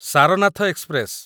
Sarnath express